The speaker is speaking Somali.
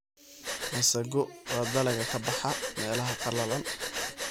masago waa dalagga ka baxa meelaha qallalan.